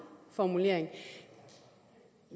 formulering